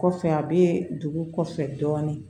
Kɔfɛ a bɛ dugu kɔfɛ dɔɔnin